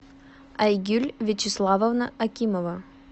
айгуль вячеславовна акимова